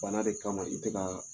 Bana de kama i tɛ ka